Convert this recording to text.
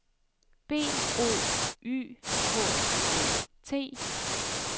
B O Y K O T